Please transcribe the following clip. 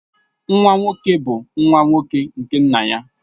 Nwa nwoke bu nwa nwoke nke nna ya